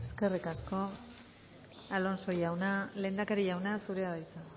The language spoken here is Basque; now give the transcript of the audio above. eskerrik asko alonso jauna lehendakari jauna zurea da hitza